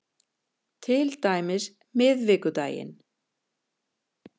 Til dæmis miðvikudaginn